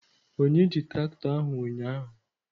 Onye ji traktọ ahụ ụnyaahụ?